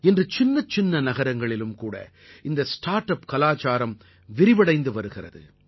இன்று சின்னச் சின்ன நகரங்களிலும் கூட இந்த ஸ்டார்ட் அப் கலாச்சாரம் விரிவடைந்து வருகிறது